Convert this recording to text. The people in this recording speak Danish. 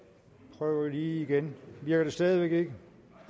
prøv lige igen virker det stadig væk ikke